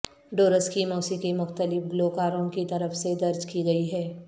doors کی موسیقی مختلف گلوکاروں کی طرف سے درج کی گئی ہے